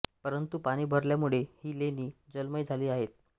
परंतु पाणी भरल्यामुळे ही लेणी जलमय झाली आहेत